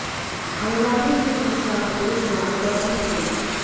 हंगामे की सूचना पर पुलिस मौके पर पहुंच गई